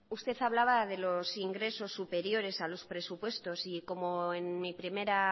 usted hablaba de los ingresos superiores a los presupuestos como en mi primera